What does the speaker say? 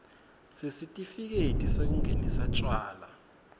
sesitifiketi sekungenisa tjwala